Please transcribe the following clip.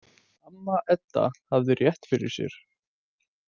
Amma Edda hafði rétt fyrir sér.